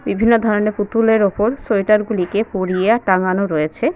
বিভিন্ন ধরনের পুতুলের ওপর সোয়েটার গুলিকে পরিয়ে টাঙানো রয়েছে।